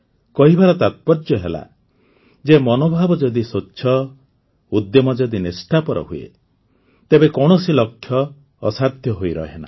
କହିବାର ତାତ୍ପର୍ଯ୍ୟ ହେଲା ଯେ ମନୋଭାବ ଯଦି ସ୍ୱଚ୍ଛ ଉଦ୍ୟମ ଯଦି ନିଷ୍ଠାପର ହୁଏ ତେବେ କୌଣସି ଲକ୍ଷ୍ୟ ଅସାଧ୍ୟ ହୋଇ ରହେନା